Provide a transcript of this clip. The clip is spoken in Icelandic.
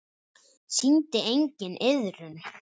Sýndi enginn iðrun?